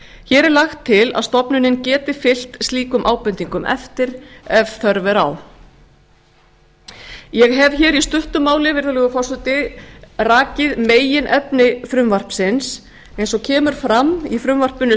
hér er lagt til að stofnunin geti fylgt slíkum ábendingum eftir ef þörf er á ég hef í stuttu máli virðulegi forseti rakið meginefni frumvarpsins eins og kemur fram í frumvarpinu